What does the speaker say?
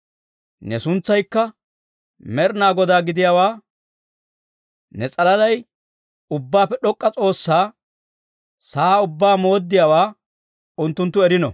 Ne suntsaykka Med'inaa Godaa gidiyaawaa, ne s'alalay Ubbaappe D'ok'k'a S'oossaa, sa'aa ubbaa mooddiyaawaa unttunttu erino.